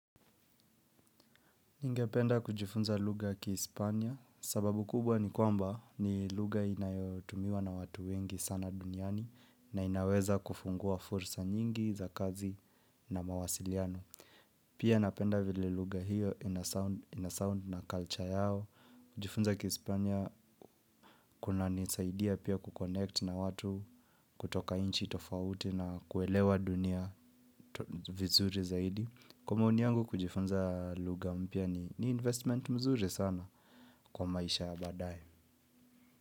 Ningependa kujifunza lugha ya kihispania sababu kubwa ni kwamba ni lugha inayotumiwa na watu wengi sana duniani na inaweza kufungua fursa nyingi za kazi na mawasiliano. Pia napenda vile lugha hiyo inasound na culture yao. Kujifunza kihispania kunanisaidia pia kuconnect na watu kutoka nchi tofauti na kuelewa dunia vizuri zaidi. Kwa maoni yangu kujifunza lugha mpya ni investment mzuri sana kwa maisha ya baadaye.